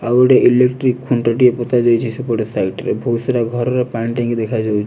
ଆଉଗୋଟେ ଇଲେକ୍ଟ୍ରିକ ଖୁଣ୍ଟଟିଏ ପୋତା ଯାଇଚି ସେପଟେ ସାଇଟ୍ ରେ ବହୁତସାରା ଘରର ପାଣିଟାଙ୍କି ଦେଖାଯାଉଚି।